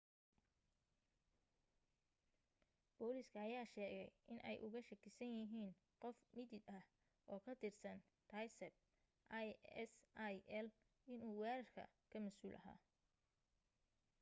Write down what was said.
booliska ayaa sheegay inay uga shakisan yihiin qof mitid ah oo ka tirsan daesb isil inuu weerarka ka masuul ahaa